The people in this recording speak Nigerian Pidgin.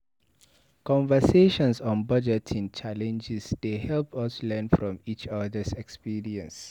Conversations on budgeting challenges dey help us learn from each other's experiences.